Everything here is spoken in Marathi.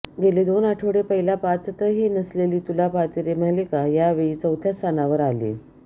गेले दोन आठवडे पहिल्या पाचातही नसलेली तुला पाहते रे मालिका या वेळी चौथ्या स्थानावर आलीय